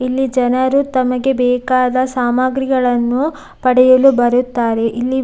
ಇಲ್ಲಿ ಜನರು ತಮಗೆ ಬೇಕಾದ ಸಾಮಗ್ರಿಗಳನ್ನು ಪಡೆಯಲು ಬರುತ್ತಾರೆ ಇಲ್ಲಿ --